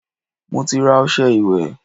Mo ti ra ọṣẹ ìwẹ̀